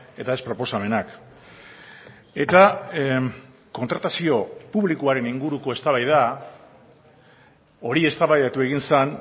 eta ez proposamenak eta kontratazio publikoaren inguruko eztabaida hori eztabaidatu egin zen